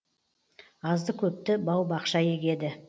азды көпті бау бақша егеді